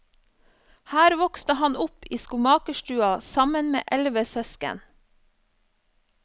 Her vokste han opp i skomakerstua sammen med elleve søsken.